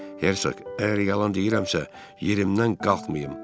Hersoq, əgər yalan deyirəmsə, yerimdən qalxmayım.